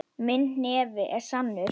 Minn hnefi er sannur.